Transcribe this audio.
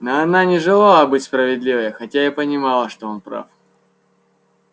но она не желала быть справедливой хотя и понимала что он прав